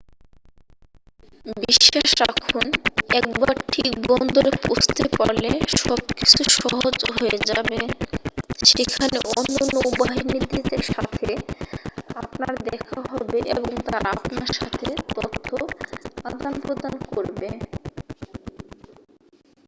বিশ্বাস রাখুন একবার ঠিক বন্দরে পৌঁছতে পারলে সব কিছু সহজ হয়ে যাবে সেখানে অন্য নৌবাহীদের সাথে আপনার দেখা হবে এবং তারা আপনার সাথে তথ্য আদান-প্রদান করবে